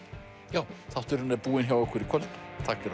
já þátturinn er búinn hjá okkur í kvöld takk fyrir